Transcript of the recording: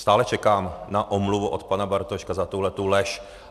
Stále čekám na omluvu od pana Bartoška za tuto lež.